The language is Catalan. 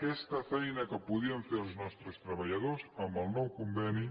aquesta feina que podien fer els nostres treballadors amb el nou conveni